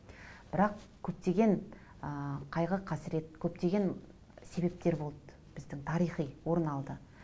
бірақ көптеген ыыы қайғы қасірет көптеген себептер болды біздің тарихи орын алды